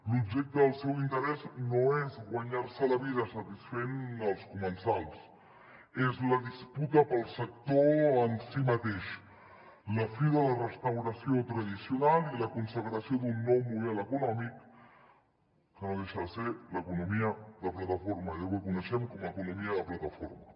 l’objecte del seu interès no és guanyar se la vida satisfent els comensals és la disputa pel sector en si mateix la fi de la restauració tradicional i la consagració d’un nou model econòmic que no deixa de ser l’economia de plataforma allò que coneixem com a economia de plataforma